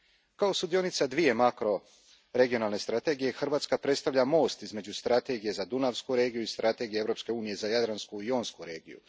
Kao sudionica dvije makroregionalne strategije, Hrvatska predstavlja most između Strategija za dunavsku regiju i Strategije Europske unije za jadransku i jonsku regiju.